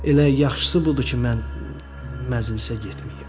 Elə yaxşısı budur ki, mən məclisə getməyim.